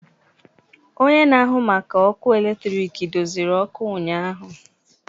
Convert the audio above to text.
Onye na-ahụ maka ọkụ eletrik doziri ọkụ ụnyahụ.